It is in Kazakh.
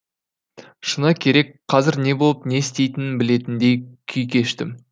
шыны керек қазір не болып не істейтінін білетіндей күй кештім